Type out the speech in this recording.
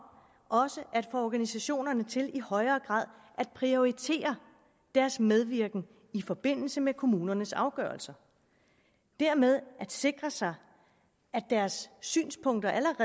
at få organisationerne til i højere grad at prioritere deres medvirken i forbindelse med kommunernes afgørelser og dermed sikre sig at deres synspunkter